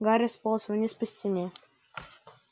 гарри сполз вниз по стене